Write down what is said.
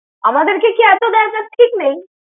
আমাদেরকে কে এত দেয় তাঁর ঠিক নেই।